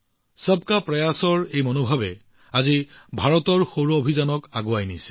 সবকা প্ৰয়াসৰ এই মনোভাৱই আজি ভাৰতৰ সৌৰ অভিযানক আগুৱাই নিছে